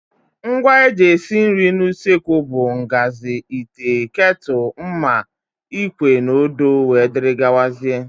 Ngwa eji esi nri n' usekwu bụ ngazi, ite, ketúlú, mma, ikwe na odo wdg.